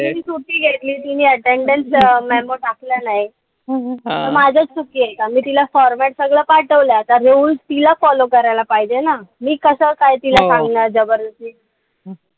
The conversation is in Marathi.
तिनी सुटी घेतली आणि attendance memo टाकला नाई. माझीच चुकीये का? मी तिला format सगळं पाठवला. आता हे rules तिला follow करायला पाहिजेल ना. मी कसं काय तिला सांगणार जबरदस्ती.